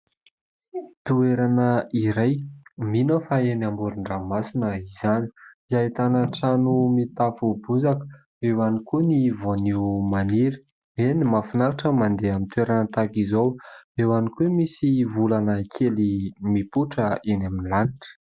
Toerana iray. Mino aho fa eny amorondranomasina izany. Ahitana trano mitafo bozaka, eo ihany koa ny voanio maniry. Eny mahafinaritra ny mandeha amin'ny toerana tahak'izao, eo ihany koa misy volana kely mipoitra eny amin'ny lanitra.